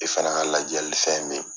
I fana ka lajali fɛn bɛ ye.